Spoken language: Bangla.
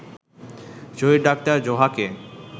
শহীদ ডা. জোহাকে